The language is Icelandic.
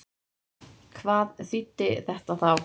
Hvað þýddi þetta þá?